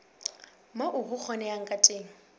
moo ho kgonehang ka teng